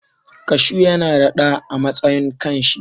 Kashu yana da ɗa a matsayin kan shi.